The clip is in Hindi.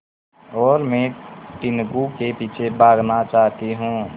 और मैं टीनगु के पीछे भागना चाहती हूँ